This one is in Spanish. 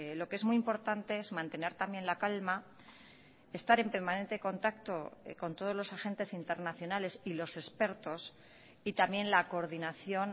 lo que es muy importante es mantener también la calma estar en permanente contacto con todos los agentes internacionales y los expertos y también la coordinación